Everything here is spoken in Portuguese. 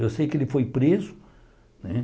Eu sei que ele foi preso né.